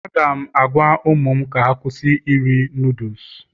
Aga m agwa ụmụ m ka ha kwụsị iri Nudusu